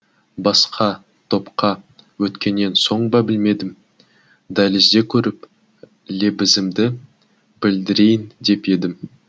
басқа топқа өткеннен соң ба білмедім дәлізде көріп лебізімді білдірейін деп едім